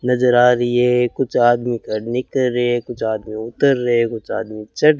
नजर आ रही है कुछ आदमी निकल रहे है कुछ आदमी उतर रहे है कुछ आदमी चढ़ --